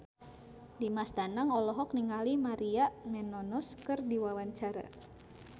Dimas Danang olohok ningali Maria Menounos keur diwawancara